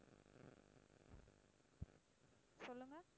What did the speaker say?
சொல்லுங்க